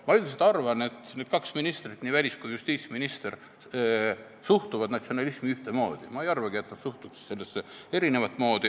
Ma üldiselt arvan, et need kaks ministrit, välisminister ja justiitsminister, suhtuvad natsionalismi ühtemoodi, ma ei arvagi, et nad suhtuks sellesse eri moodi.